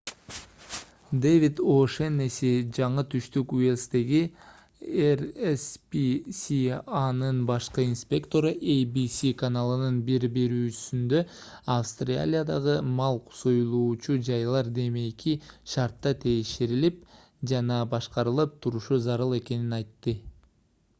дэвид о’шеннесси жаңы түштүк уэльстеги rspca'нын башкы инспектору abc каналынын бир берүүсүндө австралиядагы мал союлуучу жайлар демейки шартта текшерилип жана башкарылып турушу зарыл экенин айтты